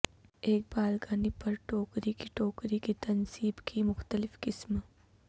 ایک بالکنی پر ٹوکری کی ٹوکری کی تنصیب کی مختلف قسم